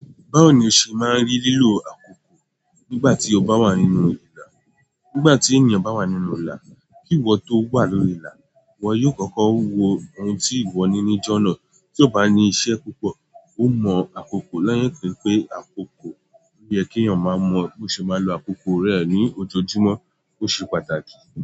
Báwo ni o ṣe máa ń rí lílo àkókò nígbà tí ọba wà nínú ìlà? Nígbà tí ènìyàn bá wà nínú ìlà, kí ìwọ tó wà lórí ìlà, ìwọ yóò kọ́kọ́ wo ohun tí ìwọ ní níjọ́ná. Tí ó bá ní iṣẹ́ púpọ̀, ó mọ àkókò lẹ́yìn pé àkókò yẹ kí ènìyàn máa mọ bó ṣe máa lò àkókò rẹ̀ ní ojoojúmọ́ ó ṣe pàtàkì.